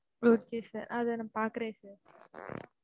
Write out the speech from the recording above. okay, sir. அதை, நான் பாக்குறேன், sir